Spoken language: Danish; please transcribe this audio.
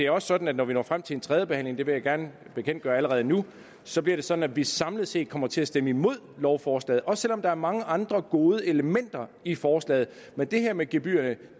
også sådan at når vi når frem til en tredje behandling det vil jeg gerne bekendtgøre allerede nu så bliver det sådan at vi samlet set kommer til at stemme imod lovforslaget også selv om der er mange andre gode elementer i forslaget men det her med gebyrerne